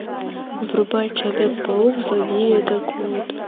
врубай человек паук злодеи атакуют